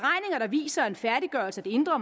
viser at en færdiggørelse af det indre